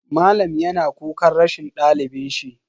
Malam yana kukan rashin dalibin shi.